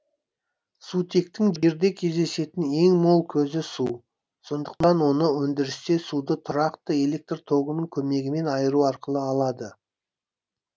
сутектің жерде кездесетін ең мол көзі су сондықтан оны өндірісте суды тұрақты электр тогының көмегімен айыру арқылы алады